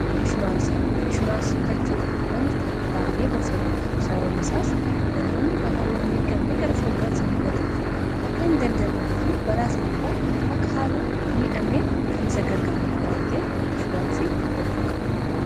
inshuraansii bitachuu wanta baay'ee gorfamuudha sababaisaas namoonni balaawwan hin eeggamne gara fuuldurasa mudatuuf akka hin dandamedu fi balaa sanirraa akka haala miidhamneen kan isa gargaarudha wanta'ef inshuraansii bitachuu qaba